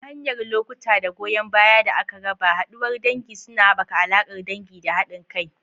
Ta hanyar lokuta da goyan baya da aka raba, haduwar dangi suna haɓaka alaƙar dangi da haɗin kai.